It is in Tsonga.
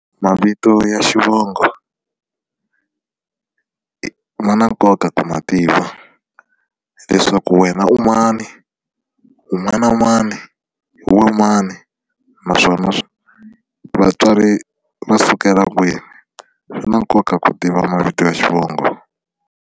Mavito ya xivongo ma na nkoka ku ma tiva leswaku wena u mani u n'wana mani hi wena mani naswona vatswari va sukela kwini swi na nkoka ku tiva mavito ya xivongo.